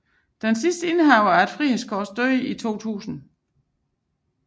Den sidste indehaver af Frihedskors døde i 2000